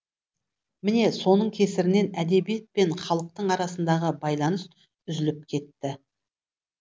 міне соның кесірінен әдебиет пен халықтың арасындағы байланыс үзіліп кетті